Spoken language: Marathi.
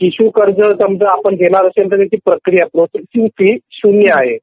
शिशु कर्ज आपण जर घेणार तर त्याची प्रक्रिया प्रोसेस फी शून्य आहे